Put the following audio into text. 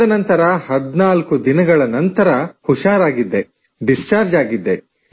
14 ದಿನಗಳ ನಂತರ ಹುಷಾರಾಗಿದ್ದೆ ಡಿಸ್ಚಾರ್ಜ ಆಗಿದ್ದೆ